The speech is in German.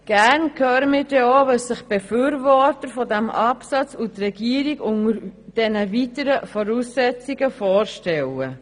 Gerne hören wir dann auch, was sich die Befürworter dieses Absatzes und die Regierung unter diesen «weitergehenden Voraussetzungen» vorstellen.